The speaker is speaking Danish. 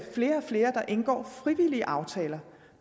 flere og flere der indgår frivillige aftaler